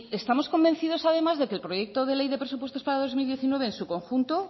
estamos convencidos además de que el proyecto de ley de presupuestos para dos mil diecinueve en su conjunto